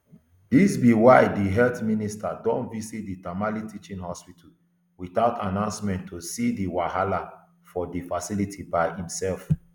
dis be why di health minister don visit di tamale teaching hospital without announcement to see di wahala for di facility by imserf